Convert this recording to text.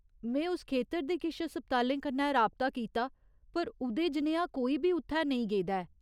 में उस खेतर दे किश अस्पतालें कन्नै राबता कीता पर उ'दे जनेहा कोई बी उत्थै नेईं गेदा ऐ।